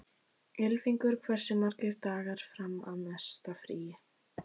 Ylfingur, hversu margir dagar fram að næsta fríi?